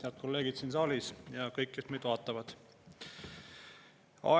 Head kolleegid siin saalis ja kõik, kes meid vaatavad!